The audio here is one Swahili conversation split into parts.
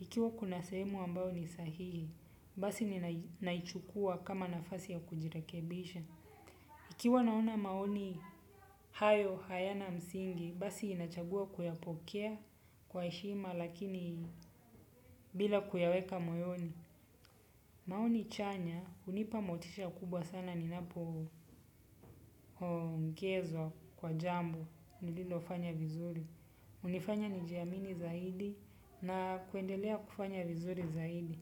Ikiwa kuna sehemu ambayo ni sahihi. Basi ninaichukua kama nafasi ya kujirekebisha. Ikiwa naona maoni hayo hayana msingi, basi nachagua kuyapokea kwa heshima lakini bila kuyaweka moyoni. Maoni chanya, hunipa motisha kubwa sana ninapo ongezwa kwa jambo nililofanya vizuri. Hunifanya nijiamini zaidi na kuendelea kufanya vizuri zaidi.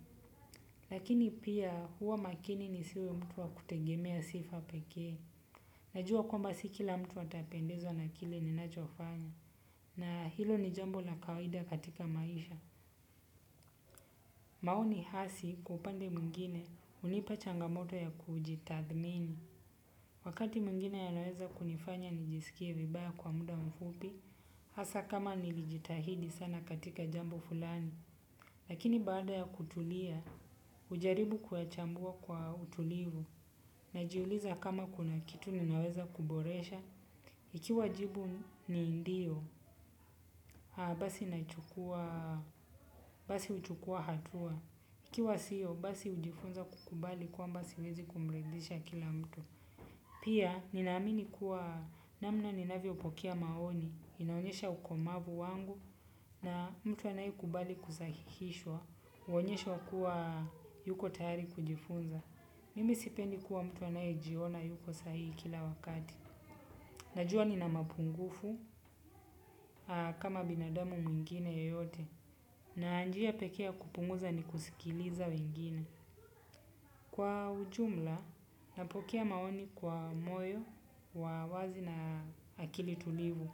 Lakini pia huwa makini nisiwe mtu wa kutegemea sifa pekee. Najua kwamba si kila mtu atapendezwa na kile ninachofanya na hilo ni jambo la kawida katika maisha. Maoni hasi kwa upande mwingine hunipa changamoto ya kujitathmini. Wakati mwigine yanaweza kunifanya nijisikie vibaya kwa muda mfupi hasa kama nilijitahidi sana katika jambo fulani. Lakini baada ya kutulia hujaribu kuyachambua kwa utulivu najiuliza kama kuna kitu ninaweza kuboresha. Ikiwa jibu ni ndio, basi nachukua, basi huchukua hatua. Ikiwa sio, basi hujifunza kukubali kwamba siwezi kumridisha kila mtu. Pia, nina amini kuwa namna ninavyo pokea maoni, inaonesha ukomavu wangu na mtu anaye kubali kusahihishwa, huonyesha kuwa yuko tayari kujifunza. Mimi sipendi kuwa mtu anaye jiona yuko sahihi kila wakati. Najua nina mapungufu kama binadamu mwingine yeyote na njia pekee ya kupunguza ni kusikiliza wengine. Kwa ujumla napokea maoni kwa moyo wa wazi na akili tulivu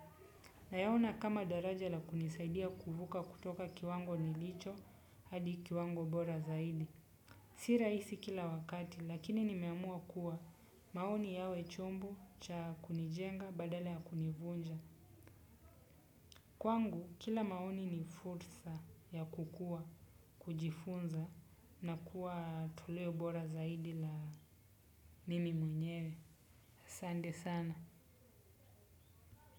na yaona kama daraja la kunisaidia kuvuka kutoka kiwango nilicho hadi kiwango bora zaidi. Si rahisi kila wakati lakini nimemua kuwa maoni yawe chombo cha kunijenga badala ya kunivunja. Kwangu kila maoni ni fursa ya kukua, kujifunza na kuwa toleo bora zaidi la mimi mwenyewe. Asante sana.